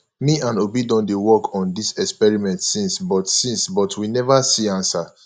me and obi don dey work on dis experiment since but since but we never see answer